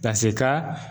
Ka se ka